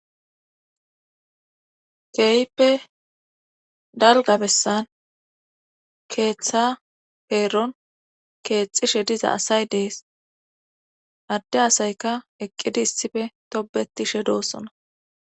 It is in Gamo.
Keyippe dalgabessan keeththa peeron keexishe diza asay dees adde asayka eqqidi issife tobetishe doossona